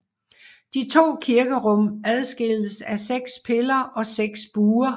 De to kirkerum adskilles af seks piller og seks buer